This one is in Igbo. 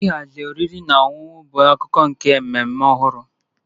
Ịhazi oriri na ọṅụṅụ bụ akụkụ nke mmemme ọhụrụ